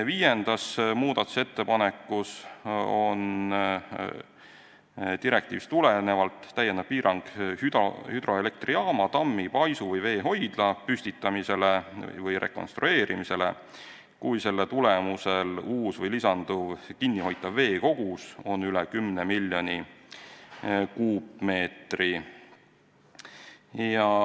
Viies muudatusettepanek näeb direktiivist tulenevalt ette lisapiirangu hüdroelektrijaama, tammi, paisu või veehoidla püstitamisele või rekonstrueerimisele, kui selle tulemusel uus või lisanduv kinnihoitav veekogus on üle 10 miljoni kuupmeetri.